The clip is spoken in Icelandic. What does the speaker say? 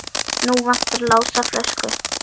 Nú vantar Lása flösku.